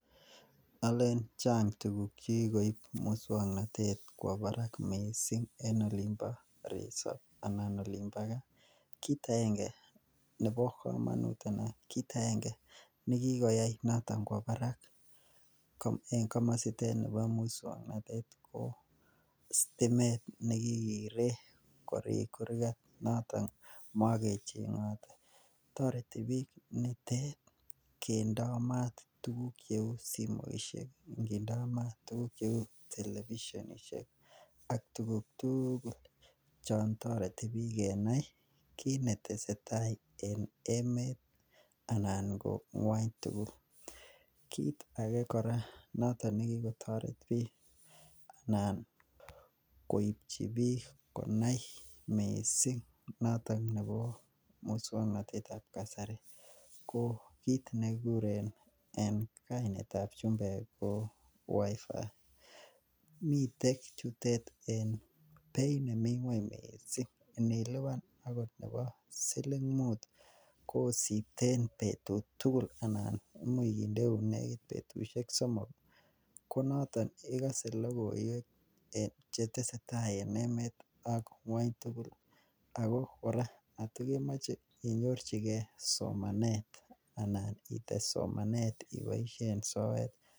Alen chang tuguk chekikoip muswoknotet kwo barak missing en olimpo reseve ana olimpo gaa kit aenge nebo komonut anan kit aenge nekikoyai noton kwo barak ko en komositet nibo muswoknotet koo sitimet nekikiree korik kurgat noton mokecheng'ote, tpreti biik nitet kendoo maat tuguk cheu simoisiek, kindoo mat tuguk cheu televisionishek, ak tuguk tuugul chon toreti biik kenai kit netese tai en emet anan ko ngwony tugul, kit age kora nekikotoret biik anan koipchi biik konai missing noton nebo muswoknotetab kasari koo kit nekikuren en kainetab chumbek wi-fi miten chutet en beit nemi kweny miissing, inilipan akot nebo siling mut ii kosipten betut tugul anan imuch kindeun nekit betusiek somok, ko noton ikase logoiwek chetese tai en emet ak ngwong tugul ako kora kot kemoche inyorchike somanet anan ites somanet iboisien soet.